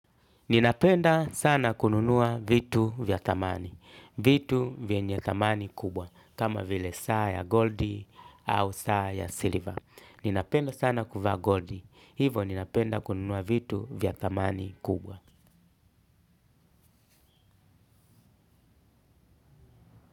Ninapenda sana kununua vitu vya thamani. Vitu vyenye thamani kubwa. Kama vile saa ya goldi au saa ya silver. Ninapenda sana kuvaa gold. Hivo ninapenda kununua vitu vya thamani kubwa.